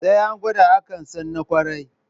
Sai an gwada, akan san na ƙwarai.